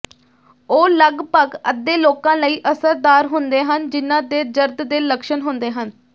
ਉਹ ਲਗਭਗ ਅੱਧੇ ਲੋਕਾਂ ਲਈ ਅਸਰਦਾਰ ਹੁੰਦੇ ਹਨ ਜਿਨ੍ਹਾਂ ਦੇ ਜਰਦ ਦੇ ਲੱਛਣ ਹੁੰਦੇ ਹਨ